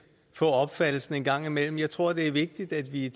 få opfattelsen en gang imellem jeg tror det er vigtigt at vi